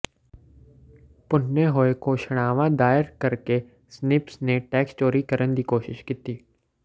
ਭੁੰਨੇ ਹੋਏ ਘੋਸ਼ਣਾਵਾਂ ਦਾਇਰ ਕਰਕੇ ਸਨਿਪਸ ਨੇ ਟੈਕਸ ਚੋਰੀ ਕਰਨ ਦੀ ਕੋਸ਼ਿਸ਼ ਕੀਤੀ